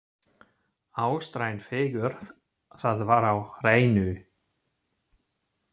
Austræn fegurð, það var á hreinu.